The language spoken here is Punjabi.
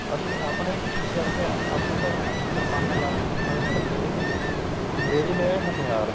ਅਸਲ ਆਪਣੇ ਕੀ ਕਰਦੇ ਏ ਆਪਣੇ ਤਾਂ ਕਿਰਪਾਨਾ ਲਾਠੀਆਂ ਏ ਨਾਲ ਲੜਦੇ ਵੀ ਗੇ ਅੰਗਰੇਜ ਲੈ ਆਏ ਹਥਿਆਰ